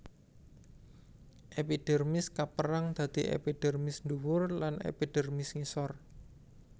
Epidermis kapérang dadi epidermis ndhuwur lan epidermis ngisor